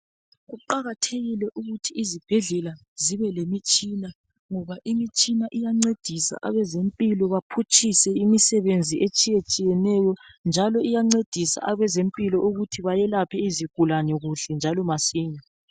Kuqakathekile ukuthi izibhedlela zibe lemitshina, ngoba imitshina iyancedisa abezempilo baphutshise imisebenzi etshiyatshiyeneyo, njalo iyancedisa abezempilo ukuthi bayelaphe izigulane kuhle njalo masinya.